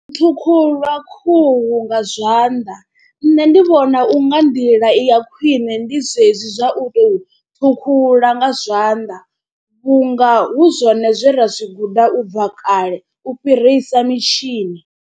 Ṱhukhulwa khuhu nga zwanḓa nṋe ndi vhona u nga nḓila i ya khwine ndi zwezwi zwa u tou ṱhukhula nga zwanḓa vhunga hu zwone zwe ra zwi guda u bva kale u fhirisa mitshini.